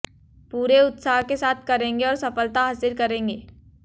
पूरे उत्साह के साथ करेंगे और सफलता हासिल करेंगे